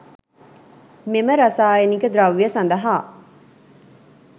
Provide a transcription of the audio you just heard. මෙම රසායනික ද්‍රව්‍ය සඳහා